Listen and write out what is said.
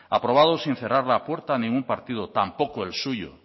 aprobados sin cerrar la puerta a ningún partido tampoco el suyo